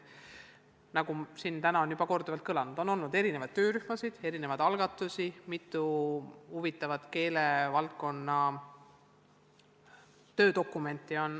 Nagu siin täna on juba korduvalt kõlanud, on olnud erinevaid töörühmi, erinevaid algatusi, on koostatud mitu huvitavat keelevaldkonna töödokumenti.